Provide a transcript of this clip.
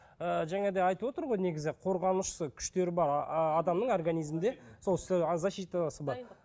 ы жаңа да айтып отыр ғой негізі қорғанышы күштері бар адамның организімінде сол защитасы бар